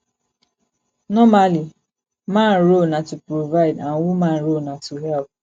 normally man role na to provide and woman role na to help